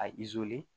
A